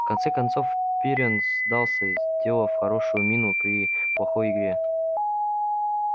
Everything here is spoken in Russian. в конце концов пиренн сдался сделав хорошую мину при плохой игре